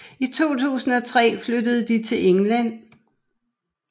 I 2003 flyttede de til England